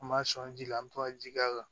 An b'a sɔn ji la an bɛ to ka ji k'a kan